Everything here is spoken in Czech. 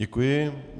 Děkuji.